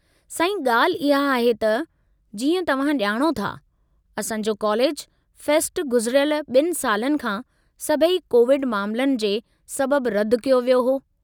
साईं, ॻाल्हि इहा आहे त, जीअं तव्हां ॼाणो था, असां जो कॉलेज फ़ेस्टु गुज़िरयिलु 2 सालनि खां सभई कोविड मामलनि जे सबबु रद्दि कयो वियो हो।